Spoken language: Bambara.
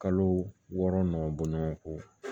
Kalo wɔɔrɔ nɔgɔ bɔ ɲɔgɔn kɔ